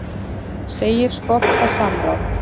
Segir skorta samráð